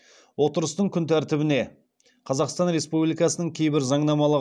отырыстың күн тәртібіне қазақстан республикасының кейбір заңнамалық